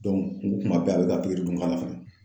o ko kuma bɛɛ a bɛ ka pikiri dun k'a la fɛnɛ